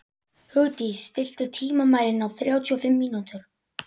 Hugdís, stilltu tímamælinn á þrjátíu og fimm mínútur.